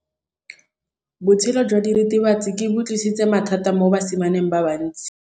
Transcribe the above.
Botshelo jwa diritibatsi ke bo tlisitse mathata mo basimaneng ba bantsi.